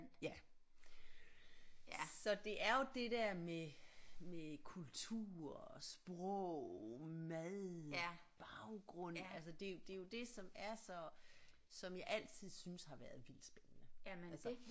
Ja så det er jo det der med med kultur og sprog mad baggrund altså det jo det er jo det som er så som jeg altid synes har været vildt spændende altså